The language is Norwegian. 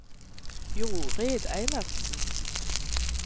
Jorid Eilertsen